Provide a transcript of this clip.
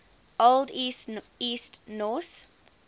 old east norse